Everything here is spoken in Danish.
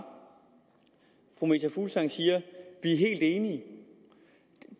fru meta fuglsang siger vi er helt enige